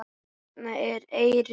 Hérna er eyrin.